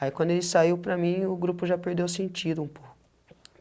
Aí quando ele saiu para mim, o grupo já perdeu o sentido um pouco.